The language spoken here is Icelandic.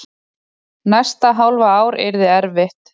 Næsta hálfa ár yrði erfitt.